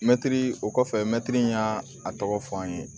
Mɛtiri o kɔfɛ mɛtiri y'a tɔgɔ fɔ an ye